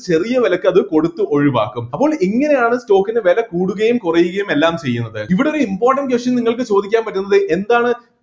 ചെറിയ വിലയ്ക്ക് അത് കൊടുത്ത് ഒഴിവാക്കും അപ്പൊൾ ഇങ്ങനെയാണ് stock ൻ്റെ വില കൂടുകയും കുറയുകയും എല്ലാം ചെയ്യുന്നത് ഇവിടെ ഒരു important question നിങ്ങൾക്ക് ചോദിക്കാൻ പറ്റുന്നത് എന്താണ്